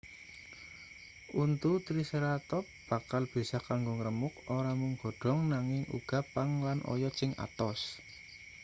untu triceratop bakal bisa kanggo ngremuk ora mung godhong nanging uga pang lan oyot sing atos